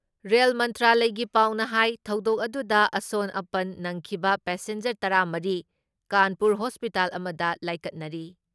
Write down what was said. Rail ꯃꯟꯇ꯭ꯔꯥꯂꯌꯒꯤ ꯄꯥꯎꯅ ꯍꯥꯏ ꯊꯧꯗꯣꯛ ꯑꯗꯨꯗ ꯑꯁꯣꯟ ꯑꯄꯟ ꯅꯪꯈꯤꯕ ꯄꯦꯁꯦꯟꯖꯔ ꯇꯔꯥ ꯃꯔꯤ ꯀꯥꯟꯄꯨꯔ ꯍꯣꯁꯄꯤꯇꯥꯜ ꯑꯃꯗ ꯂꯥꯏꯀꯠꯅꯔꯤ꯫